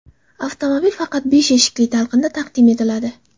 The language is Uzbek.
Avtomobil faqat besh eshikli talqinda taqdim etiladi.